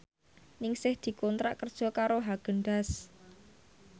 Ningsih dikontrak kerja karo Haagen Daazs